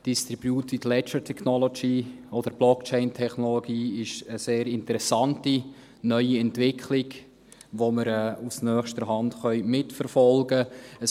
Distributed Ledger Technology (DLT) oder Blockchain-Technologie ist eine sehr interessante neue Entwicklung, die wir aus nächster Hand mitverfolgen können.